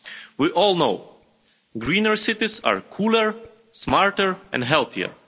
We all know greener cities are cooler, smarter and healthier.